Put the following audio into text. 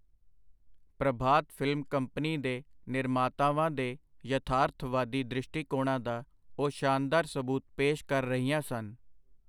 ਪ੍ਰਭਾਤ film company ਦੇ ਨਿਰਮਾਤਾਵਾਂ ਦੇ ਯਥਾਰਥਵਾਦੀ ਦ੍ਰਿਸ਼ਟੀਕੋਣਾਂ ਦਾ ਉਹ ਸ਼ਾਨਦਾਰ ਸਬੂਤ ਪੇਸ਼ ਕਰ ਰਹੀਆਂ ਸਨ.